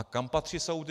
A kam patří soudy?